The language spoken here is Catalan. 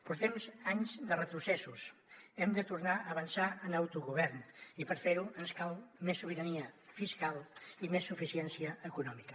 portem anys de retrocessos hem de tornar a avançar en autogovern i per fer ho ens cal més sobirania fiscal i més suficiència econòmica